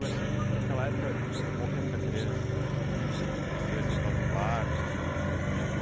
Mas e naquela época morria muita criança para quando nascer assim em causa de parto ou não?